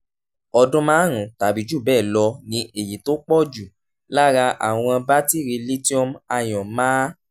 ọdún márùn-ún tàbí jù bẹ́ẹ̀ lọ ni èyí tó pọ̀ jù lára àwọn batiri lithium-ion máa